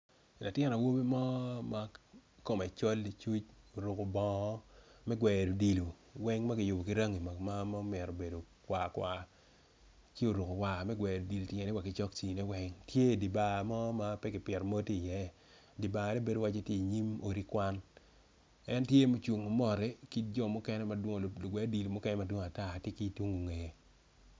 Latin awobi mo ma kome col licuc oruko bongo me gweno odilo weng makiyubo ki rangi ma omito bedo kwar kwar ci oruko bongo me gweno odilo ityene wa ki cokci ne weng tye idibar mo ma pekipito mo tye i ye dibar ne bedo waci tye i nyim odi kwan en tye ma ocungo mot ma ki jo mukene madwong ki lugwe odilo mukene madwong atar tye ki tung i nge.